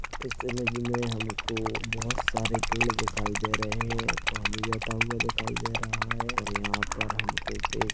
इस इमेज मे हमको बहुत सारे पेड़ दिखाई दे रहे है पानी बेहता हुआ दिखाई दे रहा है और यहाँ पर हमको पे--